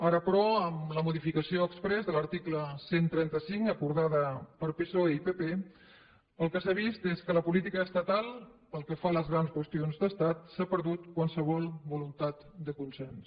ara però amb la modificació exprés de l’article cent i trenta cinc acordada per psoe o pp el que s’ha vist és que en la política estatal pel que fa a les grans qüestions d’estat s’ha perdut qualsevol voluntat de consens